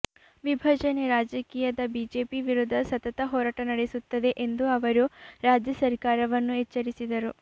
ವಿಭಜನೆ ರಾಜಕೀಯದ ಬಿಜೆಪಿ ವಿರುದ್ಧ ಸತತ ಹೋರಾಟ ನಡೆಸುತ್ತದೆ ಎಂದು ಅವರು ರಾಜ್ಯ ಸರ್ಕಾರವನ್ನು ಎಚ್ಚರಿಸಿದರು